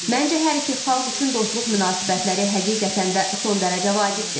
Məncə hər iki xalq üçün dostluq münasibətləri həqiqətən də son dərəcə vacibdir.